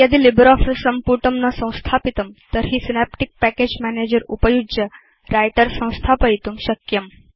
यदि लिब्रियोफिस सम्पुटं न संस्थापितं तर्हि सिनेप्टिक् पैकेज मैनेजर उपयुज्य व्रिटर संस्थापयितुं शक्यम्